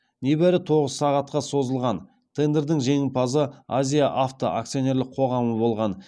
небәрі тоғыз сағатқа созылған тендердің жеңімпазы азия авто акционерлік қоғамы болған